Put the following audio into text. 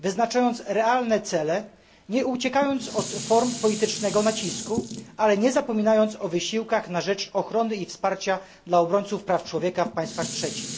wyznaczając realne cele, nie uciekając od form politycznego nacisku, ale nie zapominając o wysiłkach na rzecz ochrony i wsparcia dla obrońców praw człowieka w państwach trzecich.